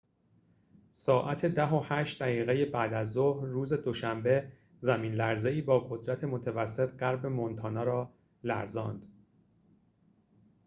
ساعت ۱۰:۰۸ بعدازظهر روز دوشنبه زمین لرزه‌ای با قدرت متوسط غرب مونتانا را لرزاند